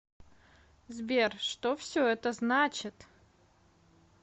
сбер что все это значит